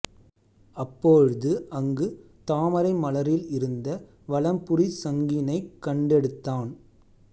அப்பொழுது அங்கு தாமரை மலரில் இருந்த வலம்புரிச் சங்கினைக் கண்டெடுத்தான்